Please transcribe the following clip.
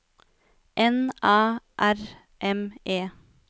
N Æ R M E